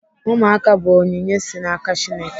Ụmụaka bụ onyinye si n'aka Chineke.